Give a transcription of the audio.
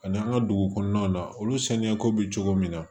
Ani an ka dugu kɔnɔnaw na olu saniya ko bɛ cogo min na